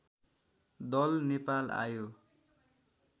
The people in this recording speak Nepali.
दल नेपाल आयो